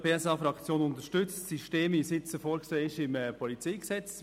Die SP-JUSO-PSA-Fraktion unterstützt das System, das jetzt im PolG vorgesehen ist.